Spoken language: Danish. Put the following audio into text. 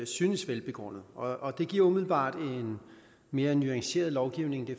synes velbegrundede og det giver umiddelbart en mere nuanceret lovgivning det